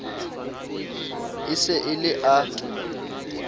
e se e le a